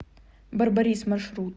барбарис маршрут